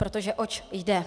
Protože oč jde?